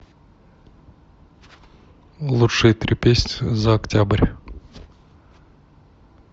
лучшие три песни за октябрь